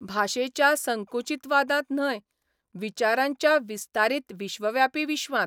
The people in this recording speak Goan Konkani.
भाशेच्या संकुचीतवादांत न्हय, विचारांच्या विस्तारीत विश्वव्यापी विश्वांत.